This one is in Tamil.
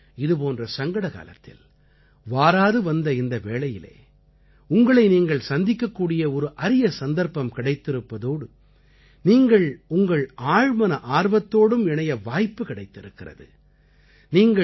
அதாவது இதுபோன்ற சங்கடகாலத்தில் வாராது வந்த இந்த வேளையிலே உங்களை நீங்கள் சந்திக்கக்கூடிய ஒரு அரிய சந்தர்ப்பம் கிடைத்திருப்பதோடு நீங்கள் உங்கள் ஆழ்மன ஆர்வத்தோடும் இணைய வாய்ப்பு கிடைத்திருக்கிறது